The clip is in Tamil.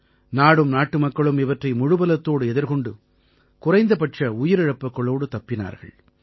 நாடும் நாட்டுமக்களும் இவற்றை முழுபலத்தோடு எதிர்கொண்டு குறைந்தபட்ச உயிரிழப்புக்களோடு தப்பினார்கள்